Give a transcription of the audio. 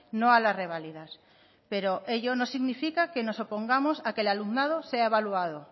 no a las reválidas pero ello no significa que nos opongamos a que el alumnado sea evaluado